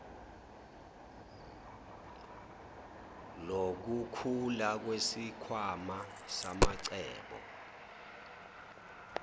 lokukhula kwesikhwama samacebo